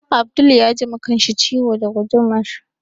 Abdul ya ji ma kanshi ciwo da gudumar